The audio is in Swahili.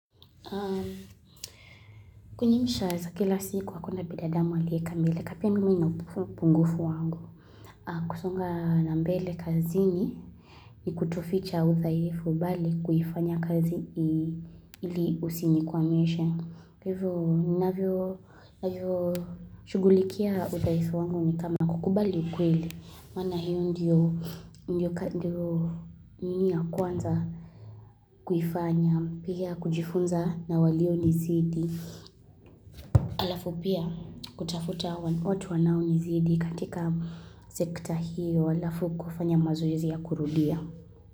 Kwenye maisha ya kila siku hakuna bidadamu aliyekamilika pia mimi nina upungufu wangu. Kusonga na mbele kazini ni kutoficha udhaifu bali kuifanya kazi hili usinikwamishe. Kwa hivyo ninavyo shughulikia udhaifu wangu ni kama kukubali ukweli. Maana hiyo ndiyo ninii ya kwanza kuifanya pia kujifunza na walio nizidi Alafu pia kutafuta watu wanaonizidi katika sekta hiyo. Alafu kufanya mazoezi ya kurudia.